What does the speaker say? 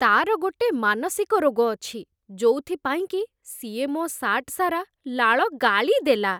ତା'ର ଗୋଟେ ମାନସିକ ରୋଗ ଅଛି, ଯୋଉଥିପାଇଁକି ସିଏ ମୋ ସାର୍ଟ ସାରା ଲାଳ ଗାଳିଦେଲା ।